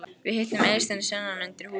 Við hittum Eystein sunnan undir húsvegg.